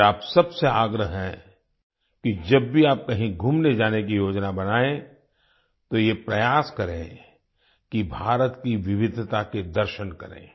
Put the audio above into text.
मेरा आप सबसे आग्रह है कि जब भी आप कहीं घूमने जाने की योजना बनाएं तो ये प्रयास करें कि भारत की विविधता के दर्शन करें